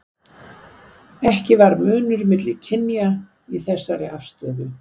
Ekki var munur milli kynja í þessari afstöðu.